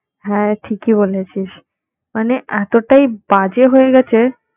হ্যাঁ ঠিকই বলেছিস, মানে এতোটাই বাজে হয়ে গেছে